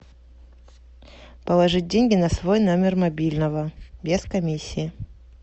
положить деньги на свой номер мобильного без комиссии